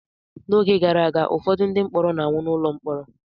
N'oge gara aga, ụfọdụ ndị mkpọrọ na-anwụ n’ụlọ mkpọrọ